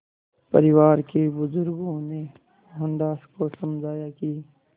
परिवार के बुज़ुर्गों ने मोहनदास को समझाया कि